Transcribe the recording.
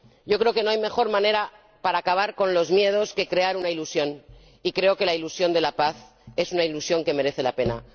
Creo que no hay mejor manera para acabar con los miedos que crear una ilusión y creo que la ilusión de la paz es una ilusión que merece la pena.